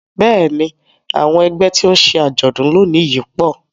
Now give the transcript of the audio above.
Bẹ́ẹ̀ni àwọn ẹgbẹ́ tí ó ń ṣe àjọ̀dún lónìí yìí pọ̀